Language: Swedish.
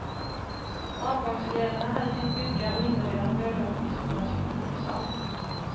Avgångseleverna hade tänkt bygga och inreda några rum i skolans gymnastiksal.